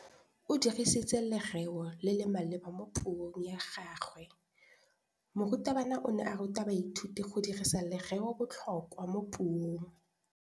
O dirisitse lerêo le le maleba mo puông ya gagwe. Morutabana o ne a ruta baithuti go dirisa lêrêôbotlhôkwa mo puong.